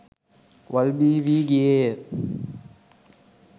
වල් බිහි වී ගියේය.